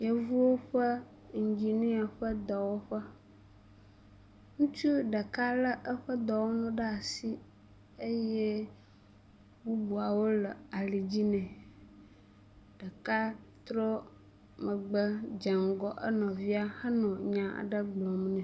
yovuwo ƒe engineer ƒe dɔwɔƒe ŋutsu ɖeka le eƒe dɔwɔnuwo ɖasi eye bubuawo le alidzi nɛ ɖeka trɔ megbe. dzeŋgɔ enɔvia nɔ enya ɖe gblɔm nɛ